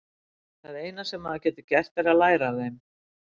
Það eina sem maður getur gert er að læra af þeim.